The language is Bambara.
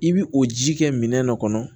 I bi o ji kɛ minɛn dɔ kɔnɔ